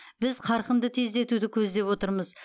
біз қарқынды тездетуді көздеп отырмыз